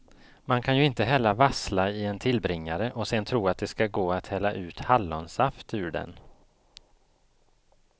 Man kan ju inte hälla vassla i en tillbringare och sen tro att det ska gå att hälla ut hallonsaft ur den.